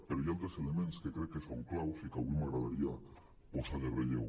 però hi ha altres elements que crec que són clau i que avui m’agradaria posar en relleu